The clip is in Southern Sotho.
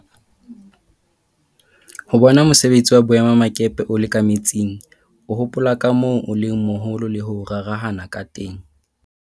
Ho bona mosebetsi wa boemakepe o le ka metsing, o hopola ka moo o leng moholo le ho rarahana ka teng.